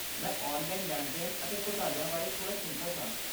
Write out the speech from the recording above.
ਮੈਂ ਔਨਲਾਈਨ ਲੈਣ ਦੇਣ ਅਤੇ ਘੁਟਾਲਿਆਂ ਬਾਰੇ ਥੋੜਾ ਚਿੰਤਤ ਹਾਂ